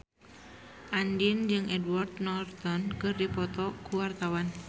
Andien jeung Edward Norton keur dipoto ku wartawan